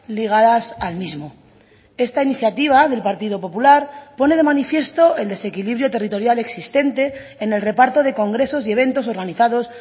ligadas al mismo esta iniciativa del partido popular pone de manifiesto el desequilibrio territorial existente en el reparto de congresos y eventos organizados